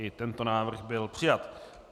I tento návrh byl přijat.